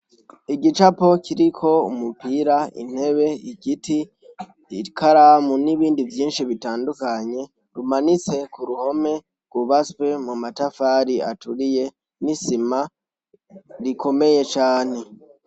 Igicapo kiriko umupira intebe igiti ikaramu n'ibindi vyinshi bitandukanye rumanitse ku ruhome rubaswe mu matafari aturiye n'isima rikomeye cane.